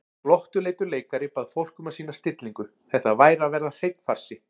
Glottuleitur leikari bað fólk um að sýna stillingu, þetta væri að verða hreinn farsi.